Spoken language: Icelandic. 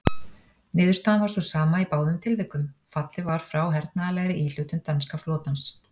Niðurstaðan var sú sama í báðum tilvikum: fallið var frá hernaðarlegri íhlutun danska flotans.